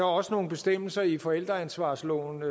også nogle bestemmelser i forældreansvarslovens